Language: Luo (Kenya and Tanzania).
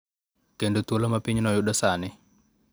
Kendo thuolo ma pinyno yudo sani.